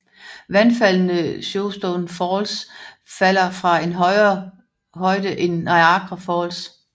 Vandfaldene Shoshone Falls falder fra en højere højde end Niagara Falls